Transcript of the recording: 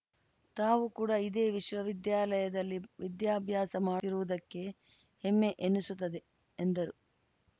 ತಾವು ಕೂಡ ಇದೇ ವಿಶ್ವವಿದ್ಯಾಲಯದಲ್ಲಿ ವಿದ್ಯಾಭ್ಯಾಸ ಮಾಡಿರುವುದಕ್ಕೆ ಹೆಮ್ಮೆ ಎನ್ನಿಸುತ್ತದೆ ಎಂದರು